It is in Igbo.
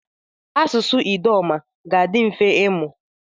Asụsụ Idoma ga-adị mfe ịmụ.